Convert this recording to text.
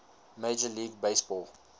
major league baseball